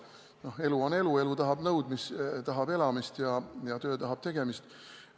No elu on elu, elu tahab elamist ja töö tahab tegemist.